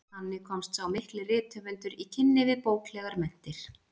Þannig komst sá mikli rithöfundur í kynni við bóklegar menntir.